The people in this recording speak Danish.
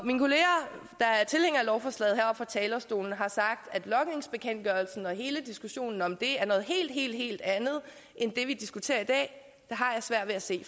lovforslaget heroppe fra talerstolen har sagt at logningsbekendtgørelsen og hele diskussionen om det er noget helt helt andet end det vi diskuterer i dag så har jeg svært ved at se